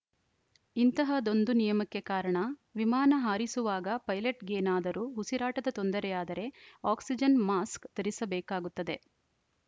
ಇಂತಹದ್ದೊಂದು ನಿಯಮಕ್ಕೆ ಕಾರಣ ವಿಮಾನ ಹಾರಿಸುವಾಗ ಪೈಲಟ್‌ಗೇನಾದರೂ ಉಸಿರಾಟದ ತೊಂದರೆಯಾದರೆ ಆಕ್ಸಿಜನ್‌ ಮಾಸ್ಕ್‌ ಧರಿಸಬೇಕಾಗುತ್ತದೆ